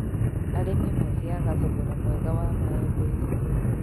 Arĩmi magĩaga thogora mwega wa maembe thoko-inĩ